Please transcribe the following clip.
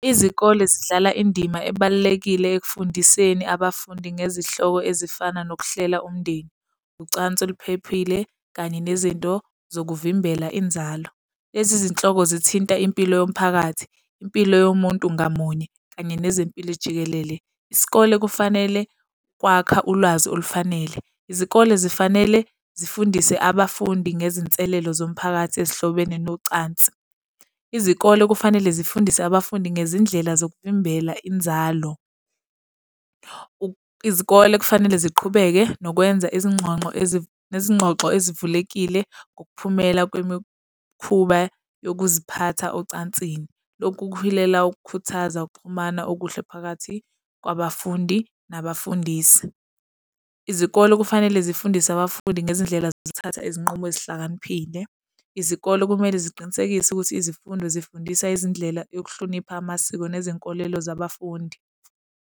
Izikole zidlala indima ebalulekile ekufundiseni abafundi ngezihloko ezifana nokuhlela umndeni, ucansi oluphephile kanye nezinto zokuvimbela inzalo. Lezi zinhlobo zithinta impilo yomphakathi, impilo yomuntu ngamunye kanye nezempilo ijikelele. Isikole kufanele kwakha ulwazi olufanele. Izikole zifanele zifundise abafundi ngezinselelo zomphakathi ezihlobene nocansi. Izikole kufanele zifundise abafundi ngezindlela zokuvimbela inzalo. Izikole kufanele ziqhubeke nokwenza izingxonxo nezingxoxo ezivulekile ngokuphumela kwemikhuba yokuziphatha ocansini. Lokhu kuhilela ukukhuthaza ukuxhumana okuhle phakathi kwabafundi nabafundisi. Izikole kufanele zifundise abafundi ngezindlela zokuthatha izinqumo ezihlakaniphile. Izikole kumele ziqinisekise ukuthi izifundo zifundisa izindlela yokuhlonipha amasiko nezinkolelo zabafundi.